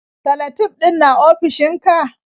Salatif ɗin na ofishinka?